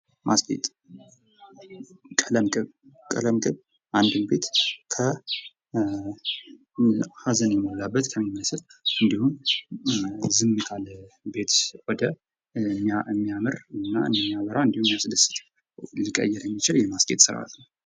ማስጌጥ ። ቀለም ቅብ ፡ ቀለም ቅብ አንድን ቤት ከ ሀዘን የሞላበት የሚመስል እንዲሁም ዝምታ ለቤት የሚያምር የሚያበራ እንዲሁም የሚያስደስት ሊቀይር የሚችል የማስጌጥ ስራት ነው ።